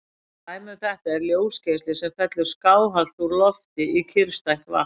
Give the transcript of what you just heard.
Dæmi um þetta er ljósgeisli sem fellur skáhallt úr lofti í kyrrstætt vatn.